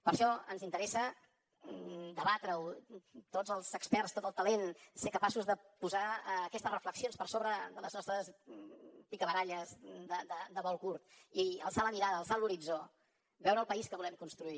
per això ens interessa debatre ho tots els experts tot el talent ser capaços de posar aquestes reflexions per sobre de les nostres picabaralles de vol curt i alçar la mirada alçar l’horitzó veure el país que volem construir